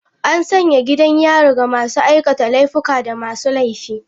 An sanya gidan yari ga masu aikata laifuka da masu laifi.